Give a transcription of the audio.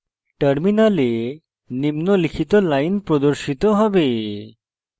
terminal নিম্নলিখিত line প্রদর্শিত হবে